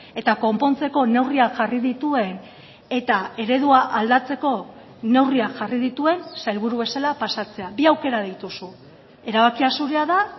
eta konpontzeko neurriak jarri dituen eta eredua aldatzeko neurriak jarri dituen sailburu bezala pasatzea bi aukera dituzu erabakia zurea da